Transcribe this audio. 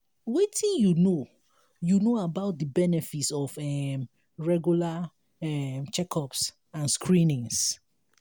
wetin you know you know about di benefits of um regular um check-ups and screenings?